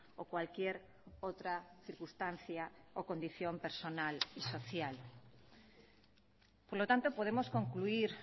o cualquier otra circunstancia o condición personal y social por lo tanto podemos concluir